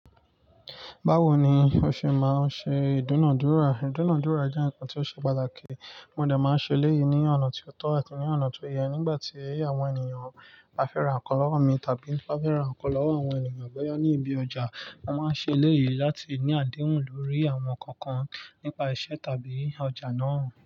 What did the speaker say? Báwo ni o ṣe máa ń ṣe ìdúnàádúrà? Ìdúnàádúrà jẹ́ nǹkan tí ó ṣe pàtàkì. Mo dẹ̀ máa ń ṣe éleyìí ní ọ̀nà tí ó tọ́ àti ní ọ̀nà to yẹ. Nígbà tí àwọn ènìyàn bá fẹ́ ra nǹkan lọ́wọ́ mi, tàbí ti n bá fẹ́ ra nǹkan lọ́wọ́ àwọn ènìyàn boya ní ibi ọjà, a máa ń ṣe eleyìí láti ní àdéhùn lórí àwọn nkankan nípa iṣẹ́ tàbí ọjà náà.